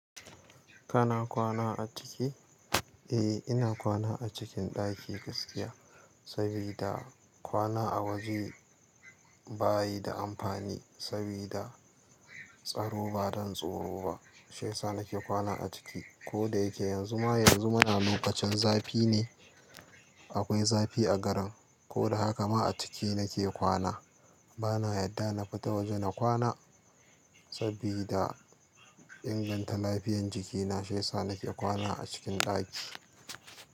Kana kwana a ciki? Eh, ina kwana a cikin ɗaki gaskiya, sabida kwana a waje ba yi da amfani sabida tsaro ba, dan tsoro ba. Shiyasa nake kwana a ciki. Ko da yake yanzu ma, yanzu muna lokacin zafi ne. Akwai zafi a garin. Ko da haka ma a ciki nake kwana. Bana yadda na fita waje na kwana sabida inganta lafiyan jikina, shiyasa nake kwana a cikin ɗaki.